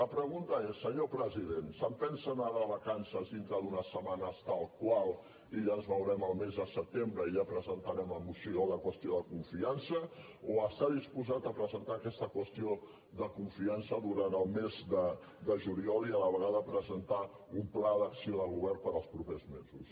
la pregunta és senyor president se’n pensa anar de vacances dintre d’unes setmanes tal qual i ja ens veurem el mes de setembre i ja presentarem la qüestió de confiança o està disposat a presentar aquesta qüestió de confiança durant el mes de juliol i a la vegada presentar un pla d’acció de govern per als propers mesos